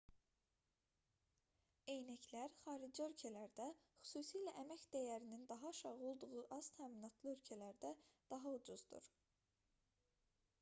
eynəklər xarici ölkələrdə xüsusilə əmək dəyərinin daha aşağı olduğu aztəminatlı ölkələrdə daha ucuzdur